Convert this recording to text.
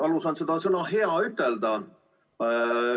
Valus on seda sõna "hea" ütelda.